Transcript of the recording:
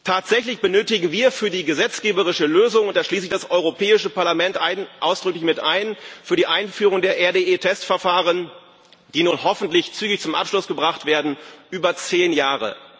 Tatsächlich benötigen wir für die gesetzgeberische Lösung da schließe ich das Europäische Parlament ausdrücklich mit ein für die Einführung der RDE Testverfahren, die nun hoffentlich zügig zum Abschluss gebracht werden, über zehn Jahre.